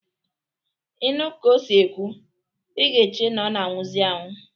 Ị nụ ka o si ekwu, i ga-eche na ọ na-anwụzị anwụ.